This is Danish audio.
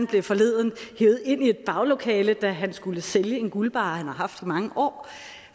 blev forleden hevet ind i et baglokale da han skulle sælge en guldbarre han har haft i mange år